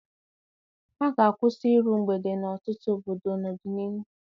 A ga-akwụsị iru mgbede n'ọtụtụ obodo n'ọdịnihu.